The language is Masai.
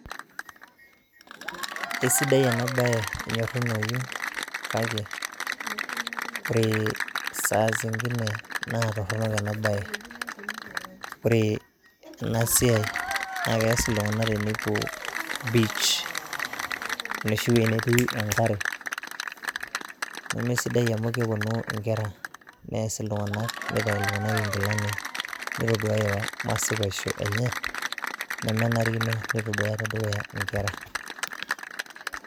Isidai ena bae , enyorunoyu kake ore saa zingine naa torono ena bae .Ore ena siai naa keas iltunganak tenepuo beach enoshi wuei netii enkare , nemesidai amu keponu inkera ,neas iltunganak, nitayu iltunganak inkilani ,nitoduaya masipaisho enye nemenarikino neitoduaya tedukuya inkera.